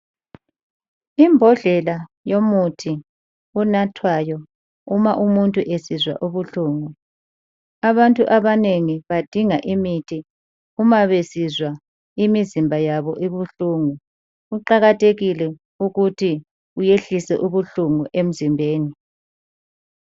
Imbodlela yomuthi enathwayo uma umuntu esizwa ubuhlungu abantu abanengi badinga imithi uma besizwa imizimba yabo ibuhlungu, kuqakathekile ukuthi uyehlise ubuhlungu emzimbeni.